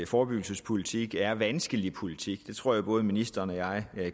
forebyggelsespolitik er vanskelig politik det tror jeg at ministeren og jeg